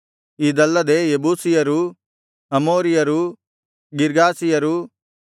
ಇದಲ್ಲದೆ ಯೆಬೂಸಿಯರೂ ಅಮೋರಿಯರೂ ಗಿರ್ಗಾಷಿಯರೂ